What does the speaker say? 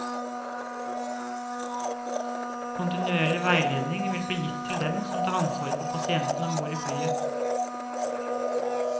Kontinuerlig veiledning vil bli gitt til dem som tar ansvaret for pasienten ombord i flyet.